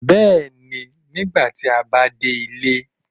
bẹẹni, nìgbàtì a ba dé ilé.